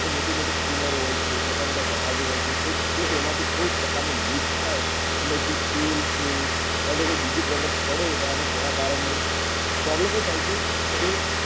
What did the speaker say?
તો મોટી મોટી steamer હોય છે મોટા મોટા જહાજ ઓ હોય છે જો તેમાં થી કોઈ પ્રકાર નું leak અને જે તેલ છે યા તો કોઈ બીજી product પડે અને તેના કારણે problem એ થાય છે કે